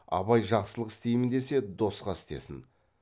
абай жақсылық істейім десе досқа істесін